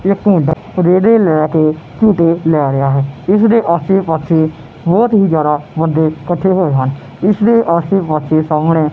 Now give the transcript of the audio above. ਇੱਕ ਮੁੰਡਾ ਝੂਟੇ ਲੈ ਰਿਹਾ ਇਸ ਦੇ ਆਸੇ ਪਾਸੇ ਸਾਹਮਣੇ ਬਹੁਤ ਹੀ ਜਿਆਦਾ ਬੰਦੇ ਕੱਠੇ ਹੋਏ ਹਨ ਤੇ ਜਿਸ ਆਸੇ ਪਾਸੇ ਸਾਹਮਣੇ।